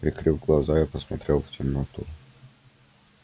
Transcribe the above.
прикрыв глаза я посмотрел в темноту